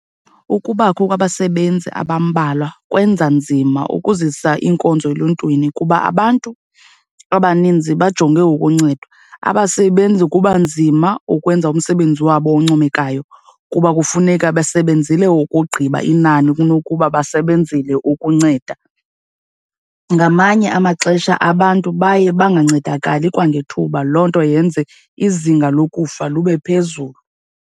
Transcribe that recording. Ukubakho kwabasebenzi abambalwa kwenza nzima ukuzisa iinkonzo eluntwini kuba abantu abaninzi bajonge ukuncedwa. Abasebenzi kuba nzima ukwenza umsebenzi wabo oncomekayo kuba kufuneka besebenzele ukugqiba inani kunokuba basebenzele ukunceda. Ngamanye amaxesha abantu baye bangancedakali kwangethuba, loo nto yenze izinga lokufa lube phezulu.